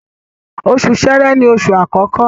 Oṣù Ṣẹ̀rẹ́ ni oṣù àkọkọ